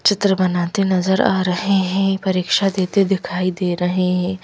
चित्र बनाते नजर आ रहे हैं परीक्षा देते दिखाई दे रहे हैं।